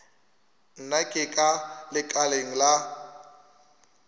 nna ke ka lekaleng la